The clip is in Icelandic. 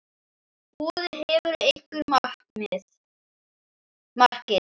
Boði: Hefurðu einhver markmið?